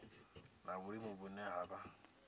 na vhulimi vhune ha vha